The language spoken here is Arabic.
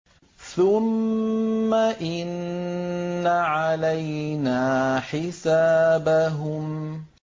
ثُمَّ إِنَّ عَلَيْنَا حِسَابَهُم